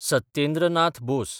Satyendra Nath Bose